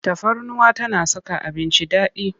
Tafarnuwa tana saka abinci daɗi.